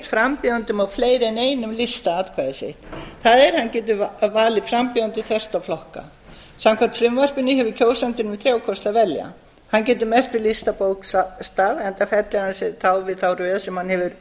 frambjóðendum á fleiri en einum lista atkvæði sitt það er hann getur valið frambjóðendur þvert á flokka samkvæmt frumvarpinu hefur kjósandinn um þrjá kosti að velja hann getur merkt við listabókstaf enda fellir hann sig þá við þá röð sem hefur